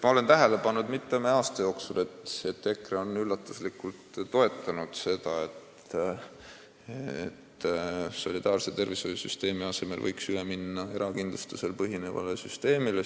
Ma olen mitme aasta jooksul tähele pannud, et EKRE on üllatuslikult toetanud ideed, et solidaarse tervishoiusüsteemi asemel võiks üle minna erakindlustusel põhinevale süsteemile.